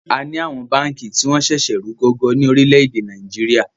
À ni àwọn báànkì tí wọn ń sẹ̀sẹ̀ rù gọ́gọ́ ní orílédé Nàìjíríà